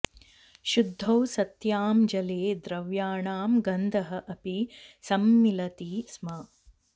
शुद्धौ सत्यां जले द्रव्याणां गन्धः अपि सम्मिलति स्म